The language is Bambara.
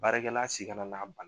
Baarakɛla si kana n'a ba